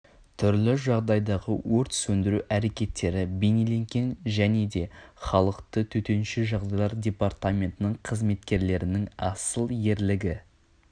түрлі жағдайдағы өрт сөндіру әрекеттері бейнеленген және де халықты төтенше жағдайлар департаментінің қызметкерлерінің асыл ерлігі